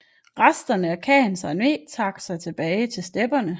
Resterne af khanens armé trak sig tilbage til stepperne